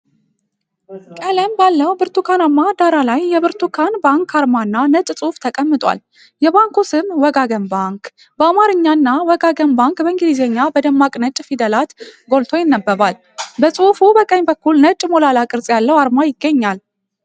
ቀለም ባለው ብርቱካናማ ዳራ ላይ የብርቱካን ባንክ አርማ እና ነጭ ጽሑፍ ተቀምጧል። የባንኩ ስም “ወጋገን ባንክ” በአማርኛ እና “Wegagen Bank” በእንግሊዝኛ በደማቅ ነጭ ፊደላት ጎልቶ ይነበባል። በጽሑፉ በቀኝ በኩል ነጭ፣ ሞላላ ቅርጽ ያለው አርማ ይገኛል።